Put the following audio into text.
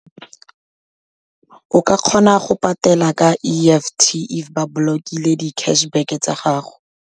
O ka kgona go patela ka E_F_T if ba blockile di-cash back-e tsa gago.